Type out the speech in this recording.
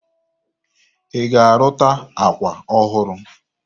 Ị ga-arụta akwa ọhụrụ?